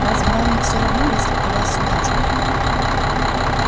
разве вам не всё равно если о вас судачат